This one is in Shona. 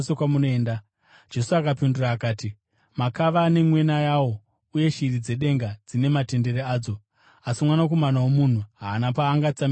Jesu akapindura akati, “Makava ane mwena yawo uye shiri dzedenga dzine matendere adzo, asi Mwanakomana woMunhu haana paangatsamidza musoro wake.”